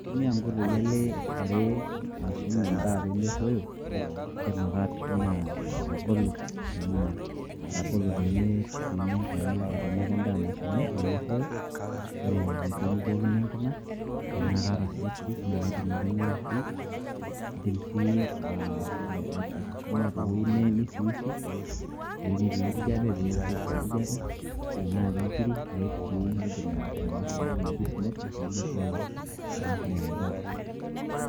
Kautumia nkoitoi ale are ashum endaa pe merroyo. Idim ake atushuma atabolo enaa atabolo peme tenaa kendaa nashumi pemerroyo, ore pemibookino enkima ,tenaa kaata si ofridge na kaidim ake aitumia ofridge, iidim si ah atushuma tewueji nisiwisiu ,tewueji netii enkijape pe woshiwosh enkijape, enaa ke nkirik aiik si, kaidim ataasa entoki naji smoking pemerruoyo pemerruoyo endaa.